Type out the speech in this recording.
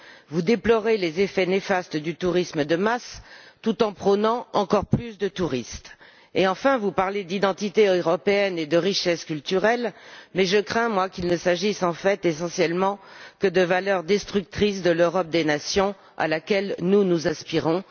Vous déplorez les effets néfastes du tourisme de masse tout en prônant encore plus de touristes et, enfin, vous parlez d'identité européenne et de richesse culturelle, mais je crains, quant à moi, qu'il ne s'agisse en fait essentiellement que de valeurs destructrices de l'Europe des nations à laquelle, nous, nous aspirons